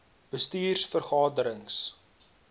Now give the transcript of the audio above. bestuurs vergade rings